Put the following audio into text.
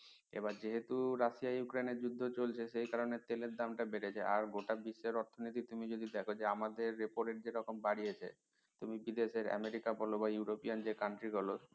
আবার যেহেতু Russia Ukraine এর যুদ্ধ চলছে সেই কারনে তেলের দাম টা বেড়েছে আর গোটা বিশ্বের অর্থনীতি তুমি যদি দেখো যে আমাদের repo rate যেরকম বাড়িয়েছে তুমি কি দেশের আমেরিকা বলো বা ইউরোপ যে country বলো